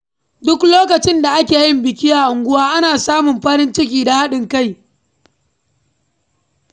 Duk lokacin da ake yin biki a unguwa, ana samun farin ciki da haɗin kai.